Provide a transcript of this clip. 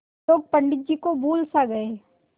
लोग पंडित जी को भूल सा गये